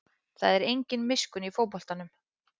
Það er engin miskunn í fótboltanum